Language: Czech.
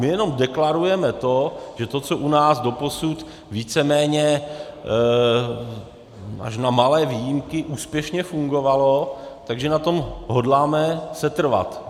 My jenom deklarujeme to, že to, co u nás doposud víceméně až na malé výjimky úspěšně fungovalo, tak že na tom hodláme setrvat.